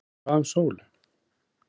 En hvað um Sólu.